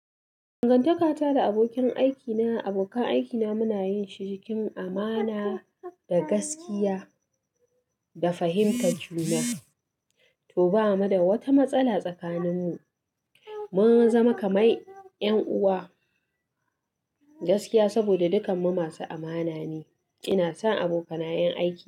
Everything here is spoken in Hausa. Dangantakata da abokin aikina, abokan aikina muna yin shi cikin amana da gaskiya da fahimtar juna. To bamu da wata matsala tsakaninmu. Mun zama kamar 'yan uwa gaskiya saboda dukanmu masu amana ne. Ina son abokanayan aiki.